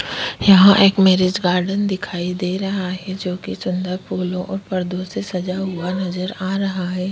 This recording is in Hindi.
यहाँ एक मैंरिज गार्डन दिखाई दे रहा है जोकि सुन्दर फूलो और पर्दो से सजा हुआ नजर आ रहा है।